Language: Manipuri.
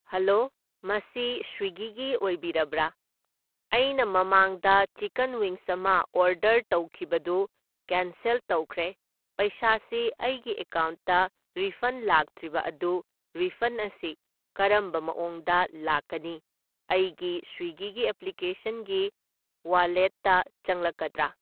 ꯍꯜꯂꯣ ꯃꯁꯤ ꯁ꯭ꯋꯤꯒꯤꯒꯤ ꯑꯣꯏꯕꯤꯔꯕ꯭ꯔꯥ? ꯑꯩꯅ ꯃꯃꯥꯡꯗ ꯆꯤꯀꯟ ꯋꯤꯡꯁ ꯑꯃ ꯑꯣꯔꯗꯔ ꯇꯧꯈꯤꯕꯗꯨ ꯀꯦꯟꯁꯦꯜ ꯇꯧꯈ꯭ꯔꯦ, ꯄꯩꯁꯥꯁꯤ ꯑꯩꯒꯤ ꯑꯀꯥꯎꯟꯇ ꯔꯤꯐꯟ ꯂꯥꯛꯇ꯭ꯔꯤꯕ ꯑꯗꯨ ꯔꯤꯐꯟ ꯑꯁꯤ ꯀꯔꯝꯕ ꯃꯑꯣꯡꯗ ꯂꯥꯛꯀꯅꯤ? ꯑꯩꯒꯤ ꯁ꯭ꯋꯤꯒꯤꯒꯤ ꯑꯦꯄ꯭ꯂꯤꯀꯦꯁꯟꯒꯤ ꯋꯥꯂꯦꯠꯇ ꯆꯪꯂꯛꯀꯗ꯭ꯔꯥ?